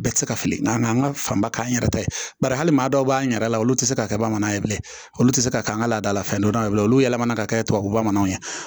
Bɛɛ tɛ se ka fili nka an ka fanba k'an yɛrɛ ta ye bari hali maa dɔw b'an yɛrɛ la olu ti se ka kɛ bamananw ye bilen olu tɛ se k'an ka laadala fɛn dɔ ye bilen olu yɛlɛmana ka kɛ tubabu bamananw ye